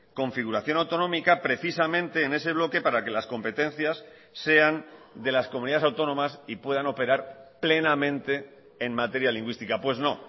configuración autonómica precisamente en ese bloque para que las competencias sean de las comunidades autónomas y puedan operar plenamente en materia lingüística pues no